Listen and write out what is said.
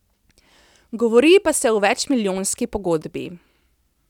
Govori pa se o večmilijonski pogodbi.